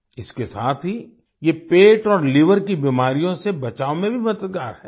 इसके साथ ही ये पेट और लीवर की बीमारियों से बचाव में भी मददगार हैं